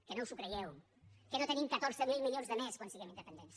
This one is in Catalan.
que no us ho creieu que no tenim catorze mil milions de més quan siguem independents